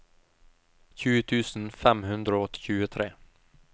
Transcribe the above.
tjue tusen fem hundre og tjuetre